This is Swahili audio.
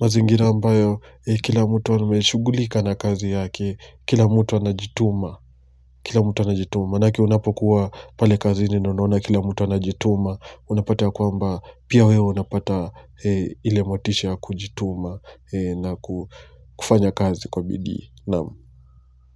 Mazingira ambayo kila mto ameshugulika na kazi yake. Kila mtu anajituma. Kila mtu anajituma manake unapokuwa pale kazini na unaona kila mtu anajituma. Unapata ya kwamba pia wewe unapata ile motisha ya kujituma. Na kufanya kazi kwa bidii naam.